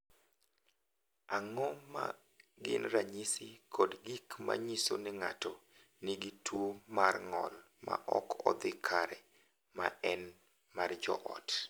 Ang’o ma gin ranyisi kod gik ma nyiso ni ng’ato nigi tuwo mar ng’ol ma ok odhi kare, ma en mar joot?